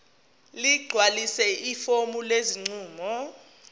ligcwalise ifomu lesinqumo